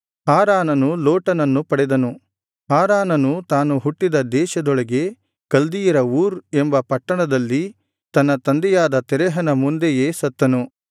ಹಾರಾನನು ತಾನು ಹುಟ್ಟಿದ ದೇಶದೊಳಗೆ ಕಲ್ದೀಯರ ಊರ್ ಎಂಬ ಪಟ್ಟಣದಲ್ಲಿ ತನ್ನ ತಂದೆಯಾದ ತೆರಹನ ಮುಂದೆಯೇ ಸತ್ತನು